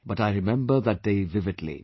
But I remember that day vividly